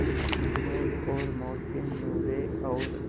महमूद और मोहसिन नूरे और